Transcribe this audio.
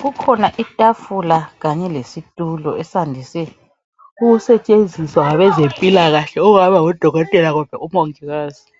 kukhona itafula kanye lesitulo esandise ukustshenziswa ngabezempilakahle ongaba ngodokotela kumbe umongikazi